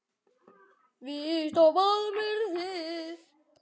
Víst á báðum eruð þið.